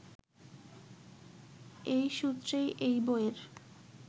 এ সূত্রেই এই বইয়ের